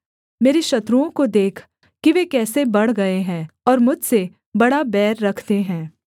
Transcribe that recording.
मेरे शत्रुओं को देख कि वे कैसे बढ़ गए हैं और मुझसे बड़ा बैर रखते हैं